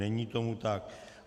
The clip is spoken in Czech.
Není tomu tak.